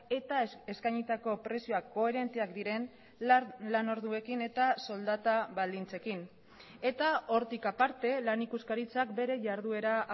eta eskainitako prezioak koherenteak diren lan orduekin eta soldata baldintzekin eta hortik aparte lan ikuskaritzak bere jarduera